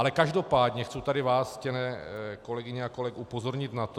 Ale každopádně chci tady vás, ctěné kolegyně a kolegové upozornit na to ...